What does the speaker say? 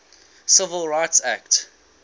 civil rights act